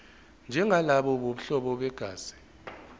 njengalabo bobuhlobo begazi